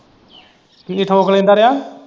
ਕੀ ਠੋਕ ਲੈਂਦਾ ਰਿਹਾ?